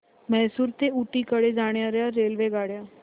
म्हैसूर ते ऊटी कडे जाणार्या रेल्वेगाड्या